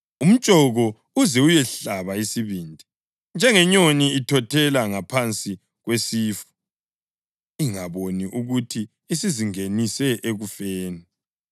umtshoko uze uyehlaba isibindi, njengenyoni ithothela ngaphansi kwesifu, ingaboni ukuthi isizingenise ekufeni.